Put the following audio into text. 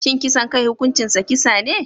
Shin kisan kai hukuncinsa kisa ne?